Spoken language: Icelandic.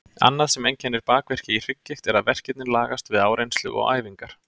Annað sem einkennir bakverki í hrygggigt er að verkirnir lagast við áreynslu og æfingar.